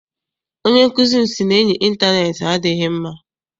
Onye nkụzi m sị na enyi intaneeti adịghị mma.